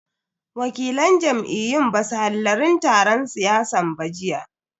Wakilan jam'iyyun basu hallarin taron siyasan ba jiya.